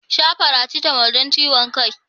Sha faracetamol don ciwon kan.